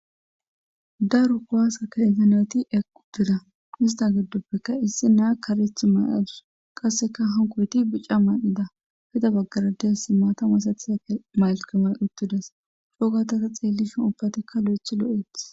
Daru kowaasa ka enganeti equ dira ista giddoppekka issi naa kareth may7adus qasseka hankoyti bicca maan7ida hida baggarades si maatamasatisak maylkama uttidas shoogatasa xeellishon ubbatikka lo7ethi lo7ethi.